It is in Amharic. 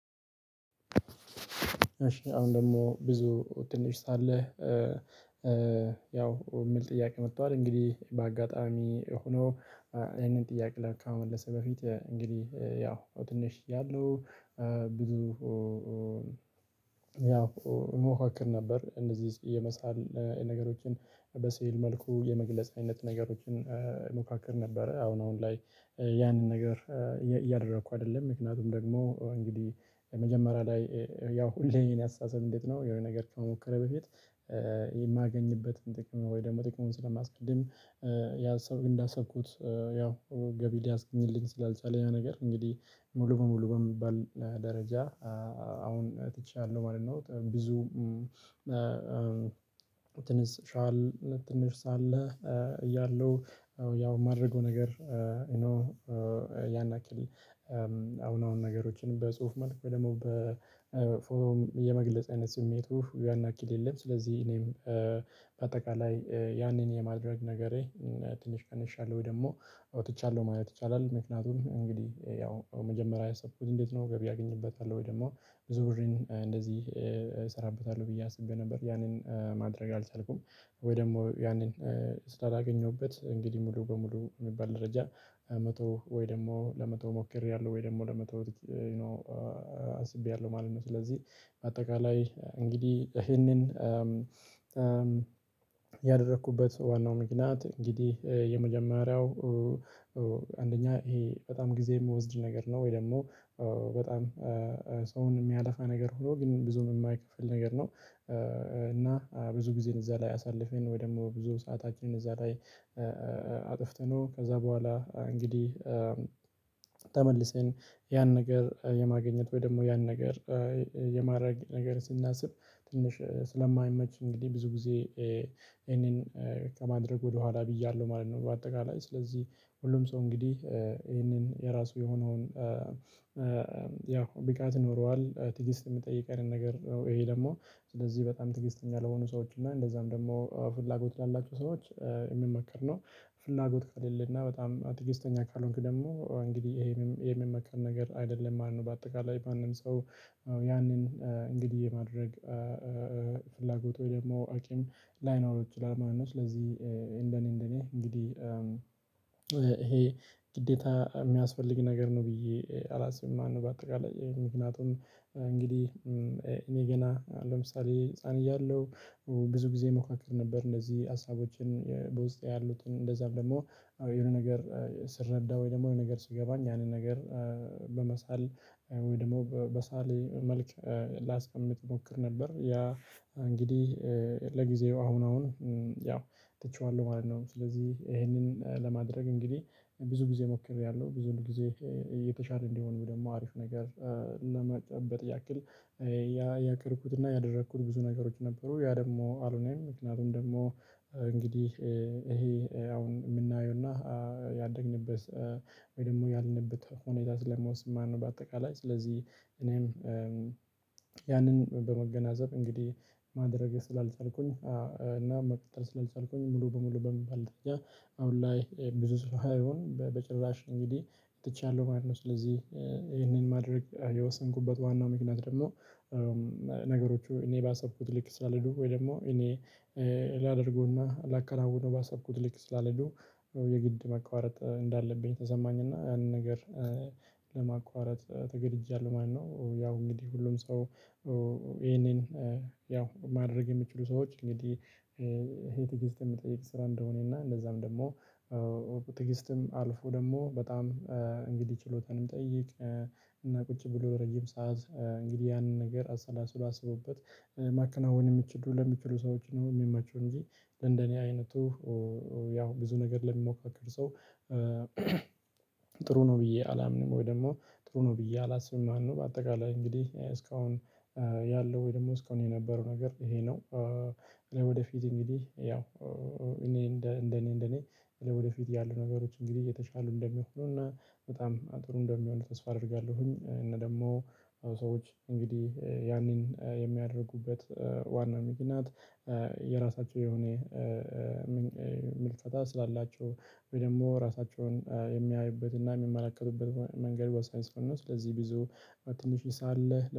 እሺ አሁን ደግሞ ብዙ ትንሽ ሳለህ ያው የሚል ጥያቄ መቷል እንግዲህ በአጋጣሚ ሆኖ። ይህንን ጥያቄ ከመመለሴ በፊት እንግዲህ ያው ትንሽ ያሉ ብዙ ያው እሞካክር ነበር እነዚህ የመሳል ነገሮችን በስዕል መልኩ የመግለጽ አይነት ነገሮችን እሞካክር ነበረ። አሁን አሁን ላይ ያንን ነገር እያደረኩ አይደለም። ምክንያቱም ደግሞ እንግዲህ መጀመሪያ ላይ ያው ሁሌም የኔ አስተሳሰብ እንዴት ነው? የሆነ ነገር ከመሞከር በፊት የማገኝበትን ጥቅም ወይ ደግሞ ጥቅሙን ስለማስቀድም። ያ ሰው እንዳሰብኩት ያው ገቢ ሊያስገኝልኝ ስላልቻለ ያ ነገር እንግዲህ ሙሉ በሙሉ በሚባል ደረጃ አሁን ትቻለሁ ማለት ነው። ብዙ ትንሽ ሻል ትንሽ ሳለ እያለሁ ያው የማደርገው ነገር። ያን ያክል አሁን አሁን ነገሮችን በጽሁፍ መልክ ደግሞ በፎርም የመግለጽ አይነት ስሜቱ ያን ያክል የለም። ስለዚህ እኔም በአጠቃላይ ያኔን የማድረግ ነገሬ ትንሽ ቀንሻለሁ ወይ ደግሞ አውጥቻለሁ ማየት ይቻላል። ምክንያቱም እንግዲህ ያው መጀመሪያ ያሰብኩት እንዴት ነው ገቢ አገኝበታለው ወይ ደግሞ ብዙ ብርን እንደዚህ እሰራበታለሁ ብዬ አስቤ ነበር ያንን ማድረግ አልቻልኩም። ወይ ደግሞ ያንን ስላላገኘውበት እንግዲህ ሙሉ በሙሉ የሚባል ደረጃ መተው ወይ ደግሞ ለመተው ሞክሬያለሁ ወይ ደግሞ ለመተው አስቤያለሁ ማለት ነው። ስለዚህ በአጠቃላይ እንግዲህ ይሄንን ያደረኩበት ዋናው ምክንያት እንግዲህ የመጀመሪያው አንደኛ ይሄ በጣም ጊዜ የምወስድ ነገር ነው ወይ ደግሞ በጣም ሰውን የሚያለፋ ነገር ሆኖ ግን ብዙም የማይከፍል ነገር ነው። እና ብዙ ጊዜን እዛ ላይ አሳልፌን ወይ ደግሞ ብዙ ሰአታችንን እዛ ላይ። አጥፍተነው ከዛ በኋላ እንግዲህ ተመልሰን ያን ነገር የማገኘት ወይ ደግሞ ያን ነገር የማድረግ ነገር ስናስብ ትንሽ ስለማይመች እንግዲህ ብዙ ጊዜ ይሄንን ከማድረግ ወደኋላ ብያለው ማለት ነው። በአጠቃላይ ስለዚህ ሁሉም ሰው እንግዲህ ይሄንን የራሱ የሆነውን ያው ብቃት ይኖረዋል ትዕግስት የሚጠይቅ አይነት ነገር ነው። ይሄ ደግሞ ስለዚህ በጣም ትዕግስተኛ ለሆኑ ሰዎች እና እንደዛም ደግሞ ፍላጎት ላላቸው ሰዎች የሚመከር ነው። ፍላጎት ከሌለ እና በጣም ትግስተኛ ካልሆንክ ደግሞ እንግዲህ ይሄንም የሚመከር ነገር አይደለም ማለት ነው። በአጠቃላይ ማንም ሰው ያንን እንግዲህ የማድረግ ፍላጎት ወይ ደግሞ አቂም ላይኖረው ይችላል። ማነው ስለዚህ እንደኔ እንደኔ እንግዲህ ይሄ ግዴታ የሚያስፈልግ ነገር ነው ብዬ አላስብም። ማነው በአጠቃላይ ምክንያቱም እንግዲህ እኔ ገና ለምሳሌ ህፃን እያለሁ ብዙ ጊዜ ሞካክር ነበር እንደዚህ ሀሳቦችን በውስጤ ያሉትን እንደዛ ደግሞ የሆነ ነገር ስረዳ ወይ ደግሞ የሆነ ነገር ስገባኝ ያንን ነገር በመሳል ወይ ደግሞ በሳሌ መልክ ላስቀምጥ እሞክር ነበር። ያ እንግዲህ ለጊዜው አሁን አሁን ያው ትቼዋለሁ ማለት ነው። ስለዚህ ይሄንን ለማድረግ እንግዲህ ብዙ ጊዜ ሞክሬያለሁ ብዙን ጊዜ የተሻለ እንዲሆን ደግሞ አሪፍ ነገር። ለመጠበቅ ያክል ያቀድኩትና ያደረኩት ብዙ ነገሮች ነበሩ ያ ደግሞ አሎነም ምክንያቱም ደግሞ እንግዲህ ይሄ አሁን የምናየውና ያደግንበት ወይ ደግሞ ያልንበት ሁኔታ ስለሚወስን ማለት ነው። በአጠቃላይ ስለዚህ እኔም ያንን በመገናዘብ እንግዲህ ማድረግ ስላልቻልኩኝ እና መቀጠል ስላልቻልኩኝ ሙሉ በሙሉ በሚባል ደረጃ አሁን ላይ ብዙ ስራ ሳይሆን በጭራሽ እንግዲህ ትቻለሁ ማለት ነው። ስለዚህ ይሄንን ማድረግ የወሰንኩበት ዋናው ምክንያት ደግሞ ነገሮቹ እኔ ባሰብኩት ልክ ስላልሄዱ ወይ ደግሞ እኔ ላደርገውና ላከናውነው ባሰብኩት ልክ ስላልሄዱ የግድ ማቋረጥ እንዳለብኝ ተሰማኝና ያንን ነገር ለማቋረጥ ተገድጃለሁ ማለት ነው። ያው እንግዲህ ሁሉም ሰው ይሄንን ያው ማድረግ የሚችሉ ሰዎች እንግዲህ ይሄ ትግስት የሚጠይቅ ስራ እንደሆነ እና እንደዛም ደግሞ ትግስትም አልፎ ደግሞ በጣም እንግዲህ ችሎታን ሚጠይቅ እና ቁጭ ብሎ ረጅም ሰዓት እንግዲህ ያንን ነገር አሰላስሎ አሰቦበት ማከናወን የሚችዱ ለሚችሉ ሰዎች ነው። የሚመቹ እንጂ ለእንደኔ አይነቱ ያው ብዙ ነገር ለሚሞካከር ሰው ጥሩ ነው ብዬ አላምንም። ወይ ደግሞ ጥሩ ነው ብዬ አላስብም። ማነው በአጠቃላይ እንግዲህ እስካሁን ያለው ወይ ደግሞ እስካሁን የነበረው ነገር ይሄ ነው። ለወደፊት እንግዲህ ያው እኔ እንደኔ እንደኔ ለወደፊት ያሉ ነገሮች እንግዲህ እየተሻሉ እንደሚሆኑና በጣም ጥሩ እንደሚሆኑ ተስፋ አደርጋለሁኝ። እና ደግሞ ሰዎች እንግዲህ ያኔን የሚያደርጉበት ዋናው ምክንያት የራሳቸው የሆነ ምልከታ ስላላቸው ወይ ደግሞ ራሳቸውን የሚያዩበትና የሚመላከቱበት መንገድ በሳይንስ ሆኖ ስለዚህ ብዙ ትንሽ ሳለ